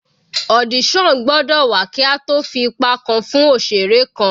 Audition gbọ́dọ̀ wà kí a tó fi ipa kan fún òṣeré kan.